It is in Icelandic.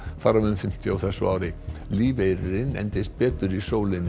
þar af um fimmtíu á þessu ári lífeyririnn endist betur í sólinni